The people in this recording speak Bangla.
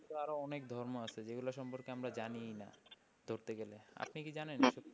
পৃথিবীতে আরো অনেক ধর্ম আছে যেগুলো সম্পর্কে আমরা জানিই না ধরতে গেলে। আপনি কি জানেন?